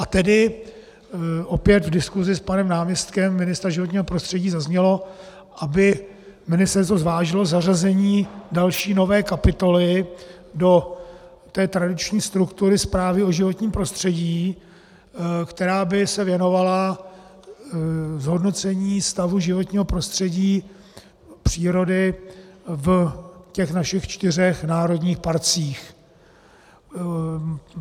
A tedy opět v diskusi s panem náměstkem ministra životního prostředí zaznělo, aby ministerstvo zvážilo zařazení další, nové kapitoly do té tradiční struktury zprávy o životním prostředí, která by se věnovala zhodnocení stavu životního prostředí, přírody v těch našich čtyřech národních parcích.